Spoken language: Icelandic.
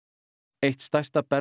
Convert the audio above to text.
eitt stærsta